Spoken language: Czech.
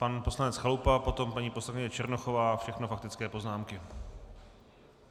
Pan poslanec Chalupa, potom paní poslankyně Černochová, všechno faktické poznámky.